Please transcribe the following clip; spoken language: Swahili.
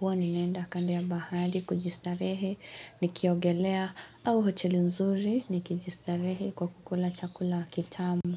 huwa ninaenda kando ya bahari kujistarehe nikiogelea au hoteli nzuri nikijistarehe kwa kukula chakula kitamu.